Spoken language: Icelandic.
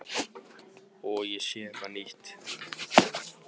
Og ég sé eitthvað nýtt.